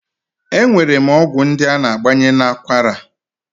E nwere ọgwụ ndị a na-agbanye n'akwara